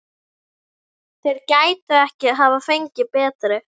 Þeir gætu ekki hafa fengið betri.